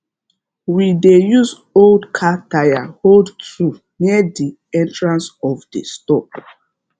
we dey use old car tyre hold tool near the entrance of the store